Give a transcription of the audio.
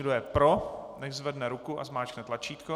Kdo je pro, nechť zvedne ruku a zmáčkne tlačítko.